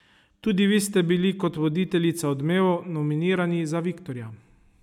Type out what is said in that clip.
Tudi vi ste bili kot voditeljica Odmevov nominirani za viktorja.